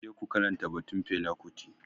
Je ku karanta batun Fela kuti.